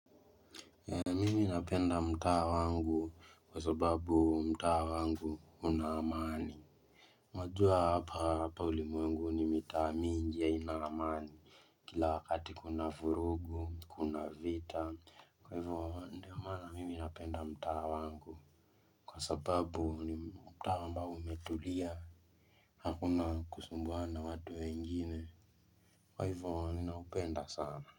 Mimi napenda mtaa wangu kwa sababu mtaa wangu una amani Mwajua hapa hapa ulimwengu ni mitaa mingi haina amani Kila wakati kuna vurugu kuna vita kwa hivyo ndio maana mimi napenda mtaa wangu kwa sababu ni mtaa ambao umetulia Hakuna kusumbuana na watu wengine kwa hivyo ninaupenda sana.